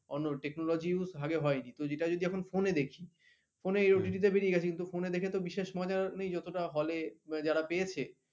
অন্য technology use আগে হয়নি ওটা যদি এখন phone এ দেখি phone এ OTT তে বেরিয়ে গেছে কিন্তু phone এ দেখে তো বিশেষ মজা নেই যতটা hall এ যারা পেয়েছে